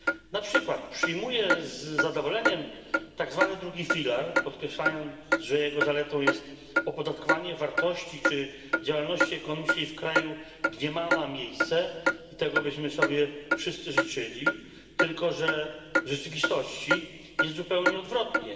Na przykład przyjmuje z zadowoleniem tak zwany drugi filar, podkreślając, że jego zaletą jest opodatkowanie wartości czy działalności ekonomicznej w kraju, gdzie ma ona miejsce i tego byśmy sobie wszyscy życzyli tylko że w rzeczywistości jest zupełnie odwrotnie.